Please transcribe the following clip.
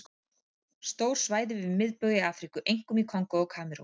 Stór svæði við miðbaug í Afríku, einkum í Kongó og Kamerún.